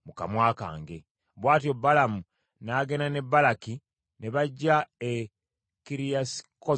Bw’atyo Balamu n’agenda ne Balaki ne bajja e Kiriasikuzosi.